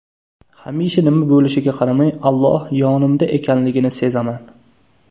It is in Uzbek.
Hamisha nima bo‘lishiga qaramay, Alloh yonimda ekanligini sezaman.